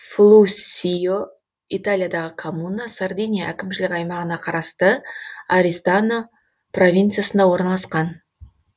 флуссио италиядағы коммуна сардиния әкімшілік аймағына қарасты ористано провинциясында орналасқан